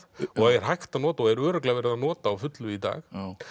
og er hægt að nota og er örugglega verið að nota á fullu í dag